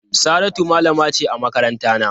Saratu malama ce a makarantana.